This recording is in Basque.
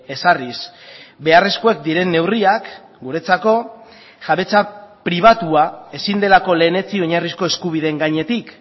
ezarriz beharrezkoak diren neurriak guretzako jabetza pribatua ezin delako lehenetsi oinarrizko eskubideen gainetik